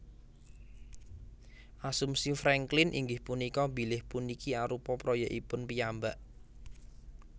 Asumsi Franklin inggih punika bilih puniki arupa proyèkipun piyambak